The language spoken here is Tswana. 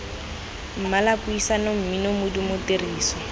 mmala puisano mmino modumo tiriso